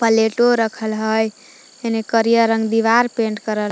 प्लेटो रखल हय हेने करिआ रंग दीवार पेंट करल--